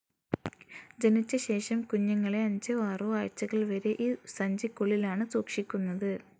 ജനിച്ച ശേഷം, കുഞ്ഞുങ്ങളെ അഞ്ചോ ആറോ ആഴ്ച്ചകൾ വരെ ഈ സഞ്ചിക്കുള്ളിലാണ് സൂക്ഷിക്കുന്നത്.